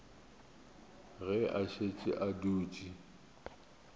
ge a šetše a dutše